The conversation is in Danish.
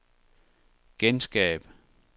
genskab